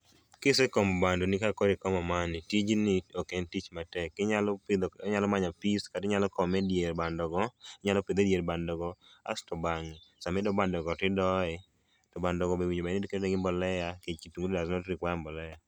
Kisekomo bandoni kaka kori komo mani tijni ok en tich matek inyalo pidho inyalo manyo pis kati nyalo kome e diere bando go inyalo pidhe dier bando go. Asto to bang'e sami doo bando go tidoye to bando go be owinjo bed ni iketo ne gi mbolea nikech tuo does not require mbolea